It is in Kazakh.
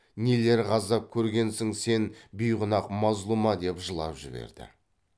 нилер ғазап көргенсің сен бейгүнаһ мазлұма деп жылап жіберді